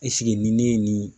ni ne ye nin